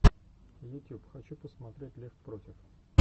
ютюб хочу посмотреть лев против